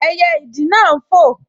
Ẹyẹ ìdì náà n fò